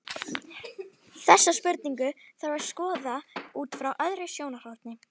Þessa spurningu þarf að skoða út frá öðru sjónarhorni.